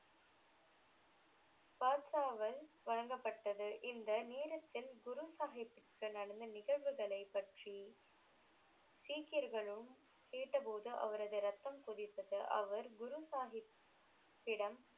பாக்சாவில் வழங்கப்பட்டது இந்த நேரத்தில் குரு சாகிப்ற்கு நடந்த நிகழ்வுகளை பற்றி சீக்கியர்களும் கேட்ட போது அவரது ரத்தம் கொதித்தது அவர் குரு சாகிப் பிடம்